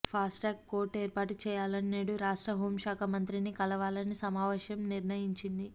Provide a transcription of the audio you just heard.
Fastrack court ఏర్పాటు చేయాలని నేడు రాష్ట్ర హోంశాఖ మంత్రిని కలవాలని సమావేశం నిర్ణయించింది